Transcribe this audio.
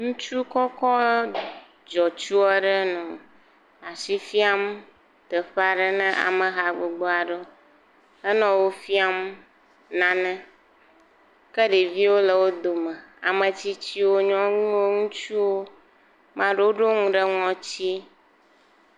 Ŋutsu kɔkɔ dzɔtsu aɖe nɔ asi fiam teƒe aɖe ne ameha gbogbo aɖewo. Henɔ wo fiam nane. Ke ɖeviwo le wo dome, ametsitsiwo, nyɔnuwo, ŋutsuwo, amea ɖewo ɖo nu ɖe ŋɔtie.